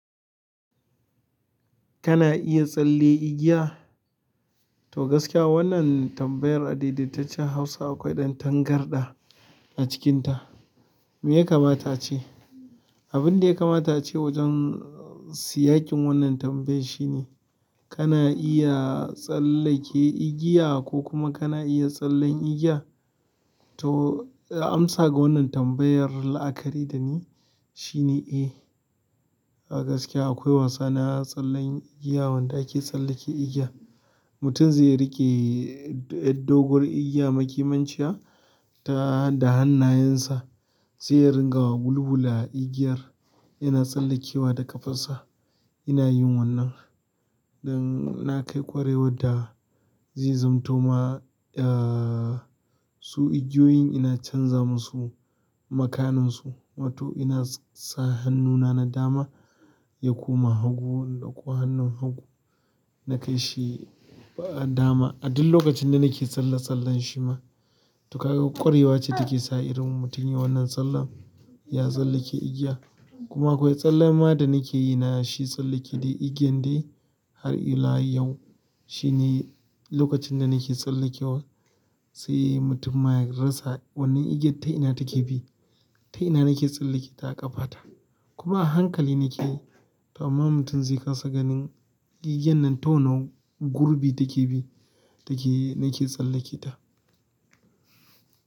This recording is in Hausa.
Kana iya tsalle igiya? To gaskiya wannan tambayar adaidaitaccen Hausa akwai ɗan tangarɗa a cikinta. Me ya kamata ace abin da ya kamata ce wajen siyakin wannan tambayar shi ne, kana iya tsallake igiya ko kuma kana iya tsallen igiya? To amsa ga wannan tambayar la'akari da ni shi ne, eh. A gaskiya akwai wasa na tsallen igiya wanda ake tsallake igiya. Mutum zai riƙe doguwar igiya makimanciya ta da hannayensa, zai ringa bulbula igiyar yana tsallakewa da ƙafarsa. Inayin wannan dan na kai ƙwarewar da zai zanto ma, eh, su igiyoyin ina canza musu makanansu. Wato ina sa hannuna na dama ya koma hagu da kuwa hannun hagu na kai shi dama. A duk lokacin da nake tsalle-tsallen shi ma. To kaga ƙwarewa ce take sa irin mutum ya yi wannan tsallen, ya tsallake igiya. Kuma akwai tsallenma da nakeyi na shi tsalleken igiyan dai har ila yau. Shi ne lokacin da nake tsallakewa, sai mutum ma ya rasa wannan igiyar ta ina take bi. Ta ina nake tsallake ta a ƙafa ta. Kuma a hankali nake to amma mutum zai kasa ganin igiyan nan ta wane gurbi take bi, take nake tsallake ta.